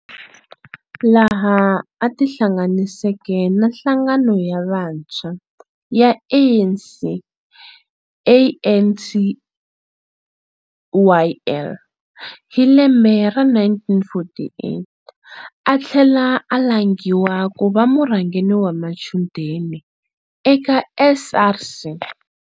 Laha a tihlanganiseke na nhlangano ya vantshwa ya ANC ANCYL, hilembe ra 1948 athlela a langhiwa kuva murhangeri wa machudeni eka SRC.